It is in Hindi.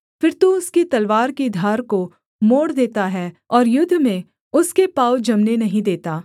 फिर तू उसकी तलवार की धार को मोड़ देता है और युद्ध में उसके पाँव जमने नहीं देता